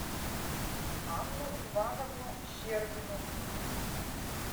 анну ивановну щербину